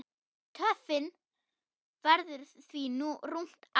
Töfin verður því rúmt ár.